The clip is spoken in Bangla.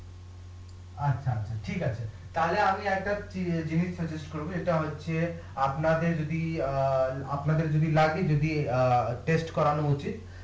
আচ্ছা আচ্ছা ঠিক আছে তাহলে আমি একটা জিনিস করবো এটা হচ্ছে আপনাদের যদি অ্যাঁ আপনাদের যদি লাগে যদি অ্যাঁ করানো উচিৎ